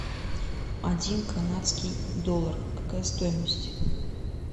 один канадский доллар какая стоимость